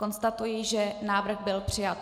Konstatuji, že návrh byl přijat.